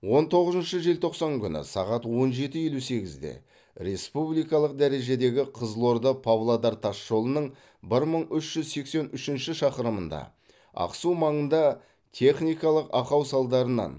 он тоғызыншы желтоқсан күні сағат он жеті елу сегізде республикалық дәрежедегі қызылорда павлодар тас жолының бір мың үш жүз сексен үшінші шақырымында ақсу маңында техникалық ақау салдарынан